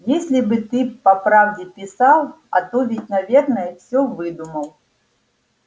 если бы ты по правде писал а то ведь наверное всё выдумал